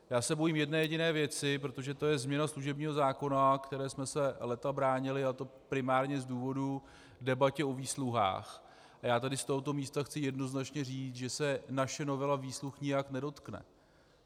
Já se bojím jedné jediné věci, protože to je změna služebního zákona, které jsme se léta bránili, a to primárně z důvodů debaty o výsluhách, a já tady z tohoto místa chci jednoznačné říct, že se naše novela výsluh nijak nedotkne.